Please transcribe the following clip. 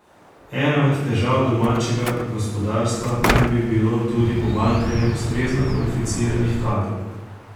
Ena od težav domačega gospodarstva naj bi bilo tudi pomanjkanje ustrezno kvalificiranih kadrov.